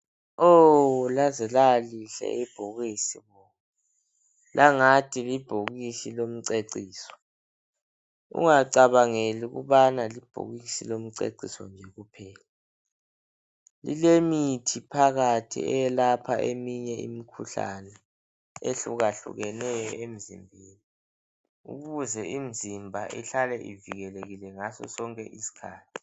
Oh laze lalihle ibhokisi bo langathi libhokisi lomceciso ungacabangeli ukubana libhokisi lomceciso nje kuphela lile mithi phakathi eyelapha eminye imikhuhlane ehlukahlukeneyo emzimbeni ukuze imzimba ihlale ivikelekile ngaso sonke iskhathi